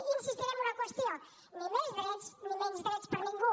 i insistiré en una qüestió ni més drets ni menys drets per a ningú